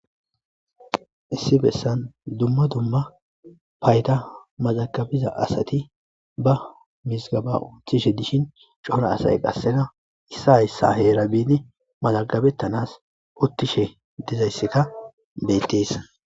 issi bessan dumma dumma payda mazagabiza asati ba misgaba uttishe dishin cora asay qassena issa hayssa heera biini malagabettanas uttishe dizaysseka beyttessa